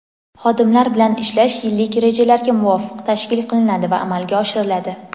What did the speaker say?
Xodimlar bilan ishlash yillik rejalarga muvofiq tashkil qilinadi va amalga oshiriladi.